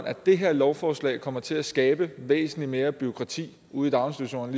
at det her lovforslag kommer til at skabe væsentlig mere bureaukrati ude i daginstitutionerne